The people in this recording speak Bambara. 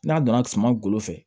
N'a donna suman golo fɛ